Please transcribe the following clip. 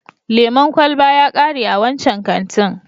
Lemon kwalaba ya kare a wancan kantin.